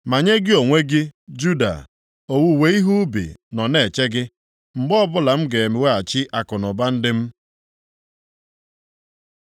“Ma nye gị onwe gị, Juda, owuwe ihe ubi nọ na-eche gị. “Mgbe ọbụla m ga-eweghachi akụnụba ndị m,